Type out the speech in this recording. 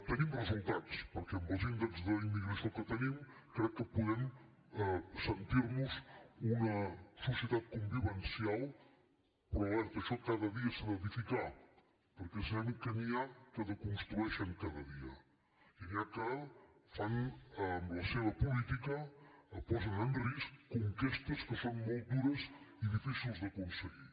tenim resultats perquè amb els índexs d’immigració que tenim crec que podem sentir nos una societat convivencial però alerta això cada dia s’ha d’edificar perquè sabem que n’hi ha que desconstrueixen cada dia i n’hi ha que fan amb la seva política posen en risc conquestes que són molt dures i difícils d’aconseguir